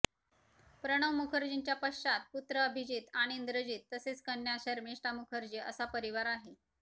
प्रणव मुखर्जींच्या पश्चात पुत्र अभिजित आणि इंद्रजित तसेच कन्या शर्मिष्ठा मुखर्जी असा परिवार आहे